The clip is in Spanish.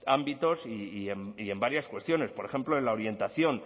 ámbitos y en varias cuestiones por ejemplo en la orientación